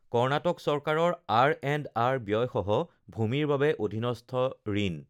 কৰ্ণাটক চৰকাৰৰ আৰএণ্ডআৰ ব্যয়সহ ভূমিৰ বাবে অধীনস্থ ঋণ